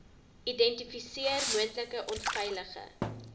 identifiseer moontlike onveilige